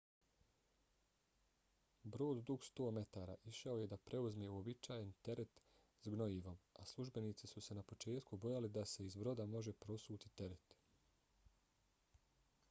brod dug 100 metara išao je da preuzme uobičajeni teret s gnojivom a službenici su se na početku bojali da se iz broda može prosuti teret